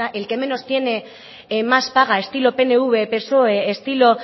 el que menos tiene más paga estilo pnv psoe estilo